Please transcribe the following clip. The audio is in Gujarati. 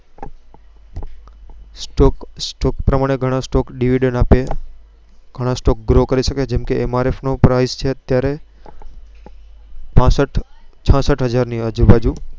Stock પ્રમાણે ગણા Stock Grow કરી સકે જેમ કે Mrf નો અત્યારે પાસઠ છાસઠ હાજર ની આજુ બાજુંPrice